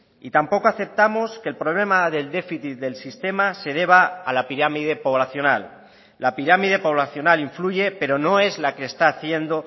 y tampoco aceptamos que el problema del déficit del sistema se deba a la pirámide poblacional la pirámide poblacional influye pero no es la que está haciendo